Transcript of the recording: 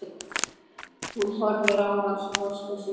Hún horfir á hann sposk á svipinn.